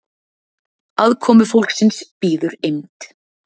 aðkomufólksins bíður eymd